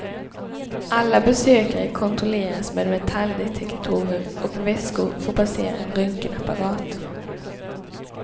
Alla besökare kontrolleras med metalldetektorer och väskor får passera en röntgenapparat.